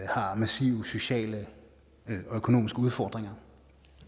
har massive sociale og økonomiske udfordringer